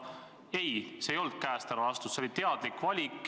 Ei, see ei olnud käest ära lastud, see oli teadlik valik.